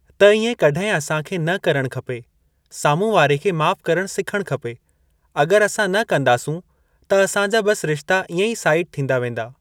त इएं कॾंहिं असां खे न करण खपे साम्हूं वारे खे माफ़ करण सिखणु खपे। अगर असां न कंदासूं त असां जा बस रिश्ता इएं ई साइड थींदा वेंदा।